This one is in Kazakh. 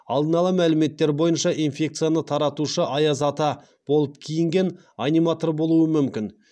алдын ала мәліметтер бойынша инфекцияны таратушы аяз ата болып киінген аниматор болуы мүмкін